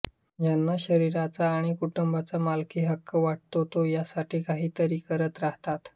ज्यांना शरीराचा आणि कुटुंबाचा मालकी हक्क वाटतो ते यासाठी काहीतरी करत राहतात